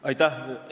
Aitäh!